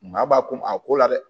Maa b'a ko a ko la dɛ